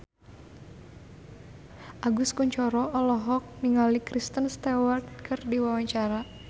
Agus Kuncoro olohok ningali Kristen Stewart keur diwawancara